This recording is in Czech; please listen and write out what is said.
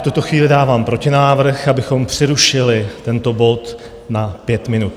V tuto chvíli dávám protinávrh, abychom přerušili tento bod na 5 minut.